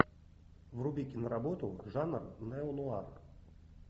вруби киноработу жанр нео нуар